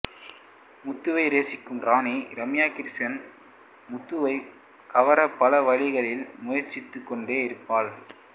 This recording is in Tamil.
முத்துவை நேசிக்கும் ராணி ரம்யா கிருஷ்ணன் முத்துவைக் கவர பல வழிகளில் முயற்சித்துக் கொண்டே இருப்பவள்